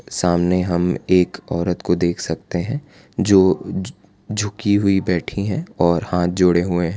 सामने हम एक औरत को देख सकते हैं जो झु झुकी हुई बैठी हैं और हाथ जोड़े हुए हैं।